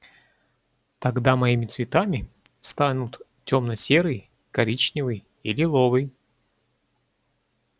тогда моими цветами станут тёмно-серый коричневый и лиловый